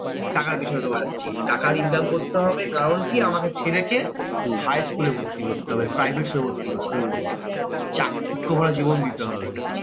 টাকার পেছনে দৌড়াচ্ছি। টাকা income করতে হবে কারণ কি? আমাকে ছেলে কে higher school এ ভর্তি করতে হবে private school এ ভর্তি করতে হবে। চাকচিক্য ভরা জীবন দিতে হবে।